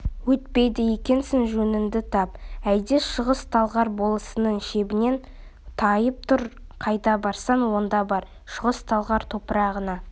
өйтпейді екенсің жөніңді тап әйда шығыс-талғар болысының шебінен тайып тұр қайда барсаң онда бар шығыс-талғар топырағына